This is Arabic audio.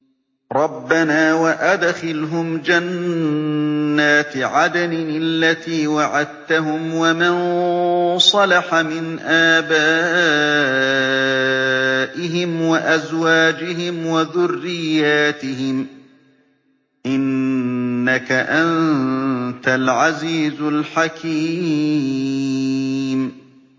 رَبَّنَا وَأَدْخِلْهُمْ جَنَّاتِ عَدْنٍ الَّتِي وَعَدتَّهُمْ وَمَن صَلَحَ مِنْ آبَائِهِمْ وَأَزْوَاجِهِمْ وَذُرِّيَّاتِهِمْ ۚ إِنَّكَ أَنتَ الْعَزِيزُ الْحَكِيمُ